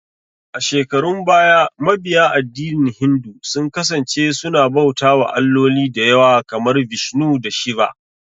A shekarun baya, mabiya addinin Hindu sun kasance suna bauta wa alloli dayawa, kamar Vishnu da Shiva